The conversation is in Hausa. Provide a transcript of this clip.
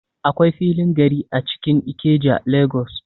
Akwai filin gari a cikin Ikeja, Lagos.